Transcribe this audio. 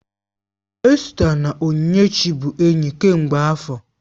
Esta na Onyinyechi bụ enyi kemgbe afọ